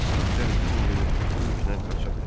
İtlər bütün günü bu yüklə qaça bilər.